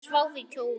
Þær sváfu í kojum.